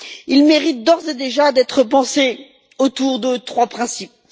Il mérite d'ores et déjà d'être pensé autour de trois principes.